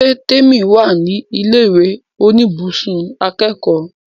Ṣé Témì wà ní ilẹ̀ ìwé oníbùsùn akẹ́kọ̀ọ́?